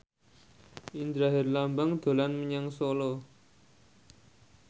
Indra Herlambang dolan menyang Solo